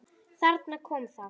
Þarna kom það!